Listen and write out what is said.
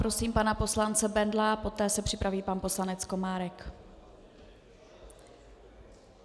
Prosím pana poslance Bendla, poté se připraví pan poslanec Komárek.